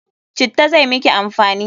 Citta zai miki amfani!